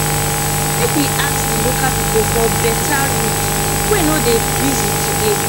make we ask di local pipo for beta route wey no dey busy today